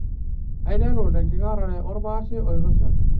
Aiteru tenkikarare orpaashe oirusha.